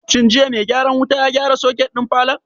Shin jiya mai gyaran wuta ya gyara soket ɗin falon?